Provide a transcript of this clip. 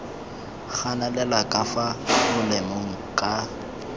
ganelela ka fa molemeng ka